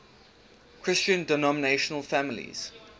christian denominational families